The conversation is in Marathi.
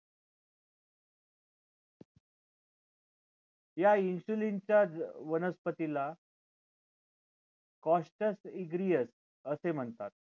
या insulin च्या वनस्पतीला costus igneus असे म्हणतात